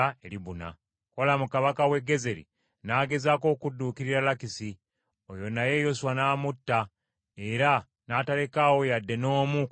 Kolamu kabaka w’e Gezeri n’agezaako okudduukirira Lakisi oyo naye Yoswa n’amutta era n’atalekaawo yadde n’omu ku bantu be.